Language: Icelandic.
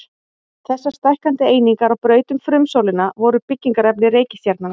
Þessar stækkandi einingar á braut um frumsólina voru byggingarefni reikistjarnanna.